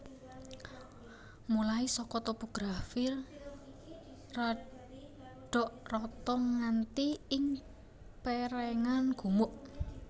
Mulai saka topografi radok rata nganti ing pèrèngan gumuk